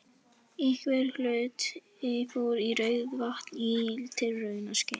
Einhver hluti fór í Rauðavatn í tilraunaskyni.